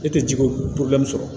E tɛ ji ko sɔrɔ